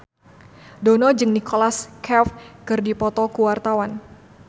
Dono jeung Nicholas Cafe keur dipoto ku wartawan